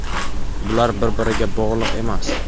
Bular bir-biriga bog‘liq emas.